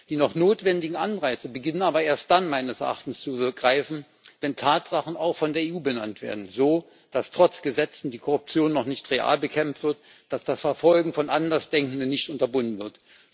Die noch notwendigen Anreize beginnen meines Erachtens aber erst dann zu greifen, wenn Tatsachen auch von der EU benannt werden dass etwa trotz Gesetzen die Korruption noch nicht real bekämpft wird, dass das Verfolgen von Andersdenkenden nicht unterbunden wird.